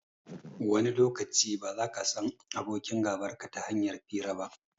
Wani lokaci, ba zaka san abokin gabarka ta hanyar hira ba.